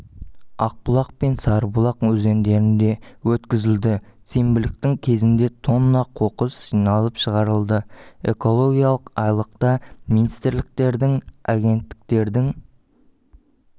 ақбұлақ пен сарыбұлақ өзендерінде өткізілді сенбіліктің кезінде тонна қоқыс жиналып шығарылды экологиялық айлықта министрліктердің агенттіктердің